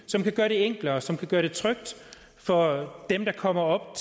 som kan gøre det enklere og som kan gøre det trygt for dem der kommer op